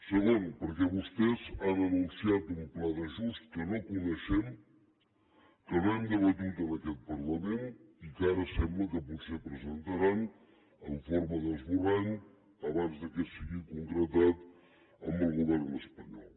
segon perquè vostès han anunciat un pla d’ajust que no coneixem que no hem debatut en aquest parlament i que ara sembla que potser presentaran en forma d’esborrany abans que sigui concretat amb el govern espanyol